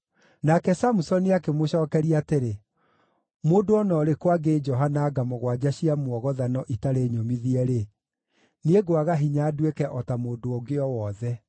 Nake Samusoni akĩmũcookeria atĩrĩ, “Mũndũ o na ũrĩkũ angĩĩnjoha na nga mũgwanja cia mwogothano itarĩ nyũmithie-rĩ, niĩ ngwaga hinya nduĩke o ta mũndũ ũngĩ o wothe.”